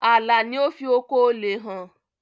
Àlà ni ó fi oko òle hàn.